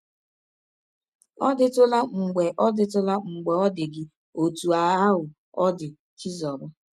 Ọ̀ dịtụla mgbe ọ dịtụla mgbe ọ dị gị ọtụ ahụ ọ dị Chizọba?